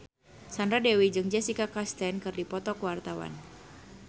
Sandra Dewi jeung Jessica Chastain keur dipoto ku wartawan